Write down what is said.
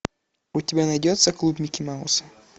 у тебя найдется клуб микки мауса